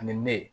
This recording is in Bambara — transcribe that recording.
Ani ne ye